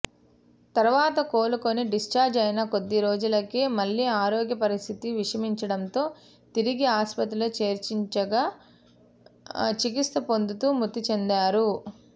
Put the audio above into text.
తర్వాత కొలుకోని డిశ్చార్జ్ అయిన కొద్దిరోజులకే మళ్లీ ఆరోగ్య పరిస్ధితి విషమించడంతో తిరిగి ఆస్పత్రిలో చేర్పించగా చికిత్స పొందుతూ మృతిచెందారు